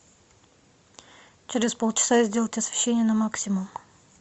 через полчаса сделать освещение на максимум